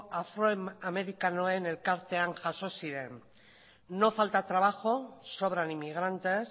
afroamerikanoen elkartean jaso ziren no falta trabajo sobran inmigrantes